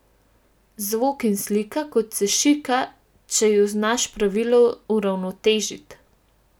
Zvok in slika, kot se šika, če ju znaš pravilno uravnotežiti.